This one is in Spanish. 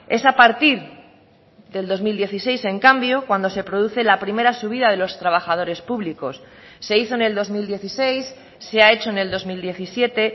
es a partir del dos mil dieciséis en cambio cuando se produce la primera subida de los trabajadores públicos se hizo en el dos mil dieciséis se ha hecho en el dos mil diecisiete